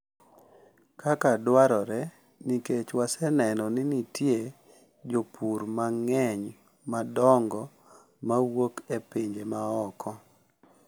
Kaka dwarore nikech waseneno ni nitie jopur mang’eny madongo ma wuok e pinje ma oko .